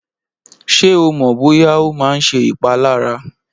Ṣé o mọ̀ bóyá ó máa ń ṣe ìpalára?